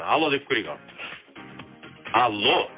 алло деп көрейік ал алло